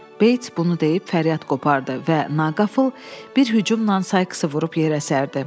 Beits bunu deyib fəryad qopardı və naqafıl bir hücumla Saikısı vurub yerə sərdi.